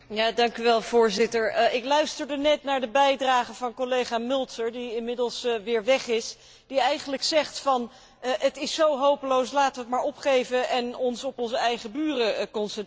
Voorzitter, ik luisterde net naar de bijdrage van collega Mölzer die inmiddels weer weg is, die eigenlijk zegt het is zo hopeloos, laten we het maar opgeven en ons op onze eigen buren concentreren.